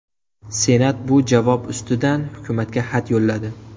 Senat bu javob ustidan hukumatga xat yo‘lladi.